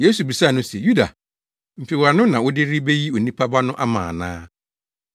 Yesu bisaa no se, “Yuda, mfewano na wode reyi Onipa Ba no ama ana?”